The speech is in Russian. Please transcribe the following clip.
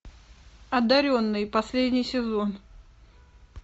одаренные последний сезон